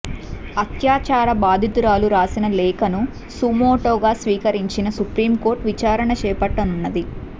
అత్యాచార బాధితురాలు రాసిన లేఖను సుమోటోగా స్వీకరించిన సుప్రీం కోర్టు విచారణ చేపట్టనున్నది